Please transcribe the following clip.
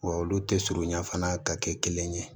Wa olu tɛ surunya fana ka kɛ kelen ye